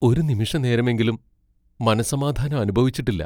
ഒരു നിമിഷനേരമെങ്കിലും മനസ്സമാധാനം അനുഭവിച്ചിട്ടില്ല.